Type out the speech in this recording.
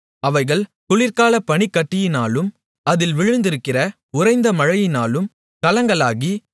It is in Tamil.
அவைகள் குளிர்காலப் பனிக்கட்டியினாலும் அதில் விழுந்திருக்கிற உறைந்த மழையினாலும் கலங்கலாகி